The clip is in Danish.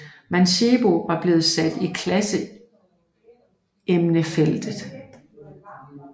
Mancebo var blevet sat i klassementsfeltet